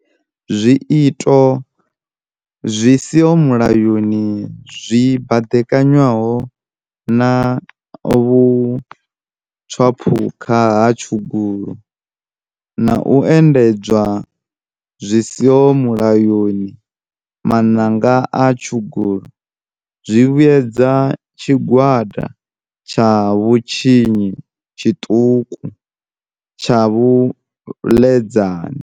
Zwiito zwi si ho mulayoni zwi baḓekanywaho na vhu tswaphukha ha tshugulu na u endedzwa zwi si ho mu-layoni maṋanga a tshugulu zwi vhuedza tshigwada tsha vhutshinyi tshiṱuku tsha vhaḽedzani.